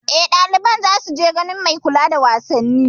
Eh, ɗaliban za su je ganin mai kula da wasanni